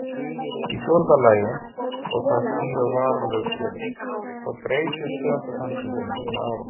Í fjórða lagi og það snýr að varanlegu túni, þá breytist tegundasamsetningin með árunum.